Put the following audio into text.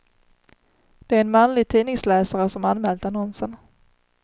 Det är en manlig tidningsläsare som anmält annonsen.